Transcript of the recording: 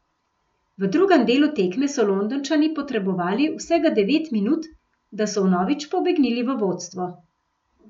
V drugem delu tekme so Londončani potrebovali vsega devet minut, da so vnovič pobegnili v vodstvo.